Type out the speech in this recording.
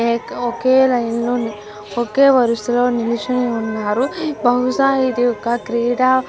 ఏక్ line లో ఒకే వరుసలో నిలుచొని ఉన్నారు. బహుశా ఇదొక క్రీడ --